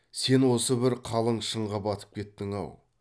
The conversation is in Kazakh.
сен осы бір қалың шыңға батып кеттің ау